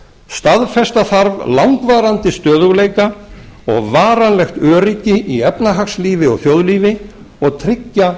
staðfesta þarf langvarandi stöðugleika og varanlegt öryggi í efnahagslífi og þjóðlífi og tryggja